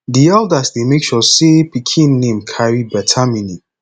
di eldas dey make sure sey pikin name carry beta meaning